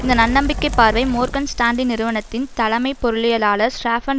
இந்த நன்னம்பிக்கைப் பார்வை மோர்கன் ஸ்டான்லி நிறுவனத்தின் தலைமை பொருளியலாளர் ஸ்ராஃபான்